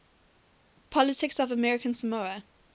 politics of american samoa